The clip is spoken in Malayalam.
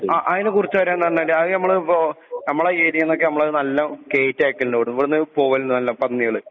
അയിനെക്കുറിച്ചു പറഞ്ഞാല് ഇപ്പൊ ഈ ഏറിയെന്നൊക്കെ നമ്മള് നല്ലോണം കേറ്റി അയക്കലിണ്ട് പോവല് പന്നികള്.